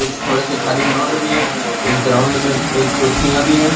थोड़े से खाली ग्राउंड भी है इस ग्राउंड में एक कुर्सियां भी है।